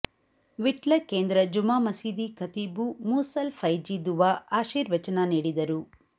ವಿಟ್ಲ ಕೇಂದ್ರ ಜುಮಾ ಮಸೀದಿ ಖತೀಬು ಮೂಸಲ್ ಫೈಝಿ ದುವಾ ಆಶೀರ್ವಚನ ನೀಡಿದರು